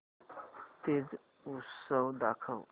तीज उत्सव दाखव